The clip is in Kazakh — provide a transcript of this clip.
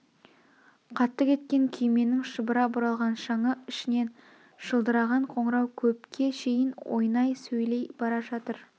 қатты кеткен күйменің шұбыра бұралған шаңы ішінен шылдыраған қоңырау көпке шейін ойнай сөйлей бара жатыр